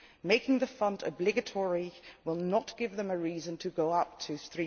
Making the fund obligatory will not give them a reason to go up to EUR